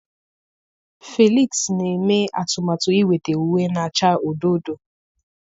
Felix na-eme atụmatụ inweta uwe na-acha odo odo